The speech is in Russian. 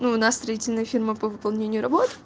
ну у нас строительная фирма по выполнению работ